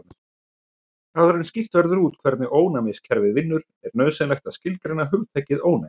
Áður en skýrt verður út hvernig ónæmiskerfið vinnur er nauðsynlegt að skilgreina hugtakið ónæmi.